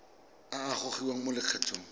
a a gogiwang mo lokgethong